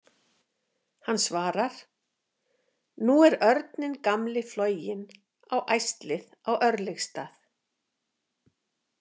Hann svarar: Nú er örninn gamli floginn á æslið á Örlygsstaði.